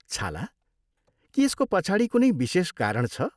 छाला? के यसको पछाडि कुनै विशेष कारण छ?